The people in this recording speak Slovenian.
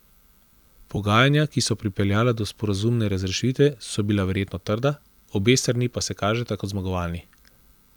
Pogajanja, ki so pripeljala do sporazumne razrešitve, so bila verjetno trda, obe strani pa se kažeta kot zmagovalni.